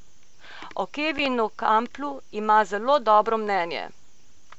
O Kevinu Kamplu ima zelo dobro mnenje.